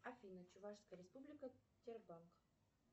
афина чувашская республика тербанк